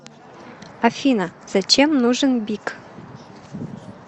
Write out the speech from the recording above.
афина зачем нужен бик